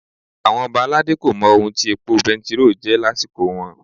Àwọn Ọba aládé kò mọ ohun tí epo bẹntiróò jẹ́ lásìkò wọn.